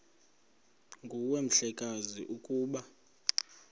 nguwe mhlekazi ukuba